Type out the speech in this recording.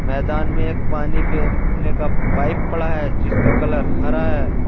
मैदान में पानी पेरने का पाइप पड़ा है जिसका कलर हरा है।